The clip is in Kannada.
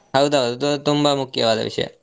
ಹೌದೌದು ಅದು ತುಂಬಾ ಮುಖ್ಯವಾದ ವಿಷಯ.